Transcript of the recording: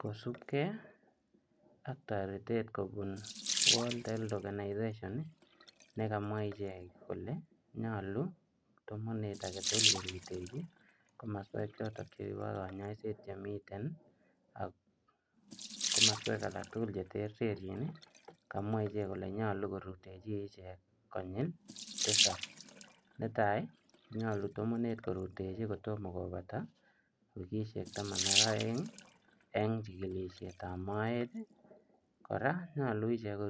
Kosupkei ak taretet kobuun [world health organization] ii nekamwaah icheek kole nyaluu tamaneet age tugul korutechii komosweek chotoon chebo kanyaiseet chemiten ak komosweek alaak che terterjiin ii kamwaah icheek kole nyaluu korutejii icheek konyil tisaap netai ko nyaluu ko tamanuy korutechii kotomah kobataa wikisheek taman ak aeng eng chikilisheet ab moet ii kora ko nyaluu icheek